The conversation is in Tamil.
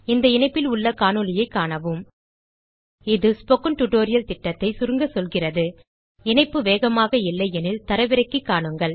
இந்த இணைப்பில் உள்ள காணொளியைக் காணவும் இது ஸ்போக்கன் டியூட்டோரியல் திட்டத்தைச் சுருங்க சொல்கிறது இணைப்பு வேகமாக இல்லை எனில் தரவிறக்கி காணுங்கள்